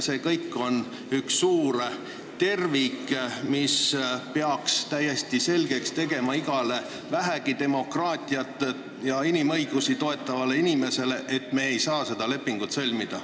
See kõik on üks suur tervik, mis peaks igale vähegi demokraatiat ja inimõigusi toetavale inimesele selgeks tegema, et me ei saa seda lepingut sõlmida.